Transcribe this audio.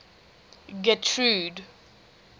getrude